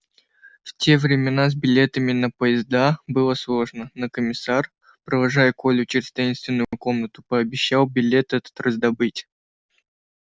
в те времена с билетами на поезда было сложно но комиссар провожая колю через таинственную комнату пообещал билет этот раздобыть